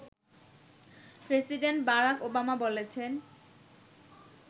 president Barack Obama বলেছেন